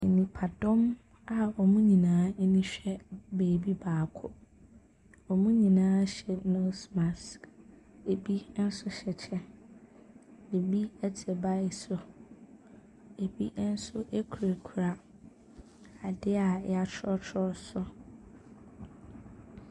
Nipadɔm a wɔn nyinaa ani hwɛ baabi baako. Wɔn nyinaa hyɛ nose mask. Ɛbi nso hyɛ kyɛ. Ɛbi te bike so. Ɛbi nso kurakura adeɛ a wɔatwerɛtrɛ so.